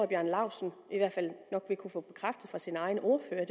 bjarne laustsen nok vil kunne få bekræftet fra sin egen ordfører er